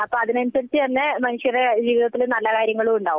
അപ്പൊ അതിനനുസരിച്ചു തന്നെ മനുഷ്യരുടെ ജീവിതത്തിൽ നല്ല കാര്യങ്ങളുമുണ്ടാവും